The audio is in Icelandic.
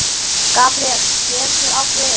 Gabríel getur átt við